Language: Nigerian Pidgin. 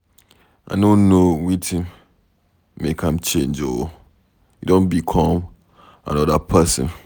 I no know wetin make am change oo, e don become another person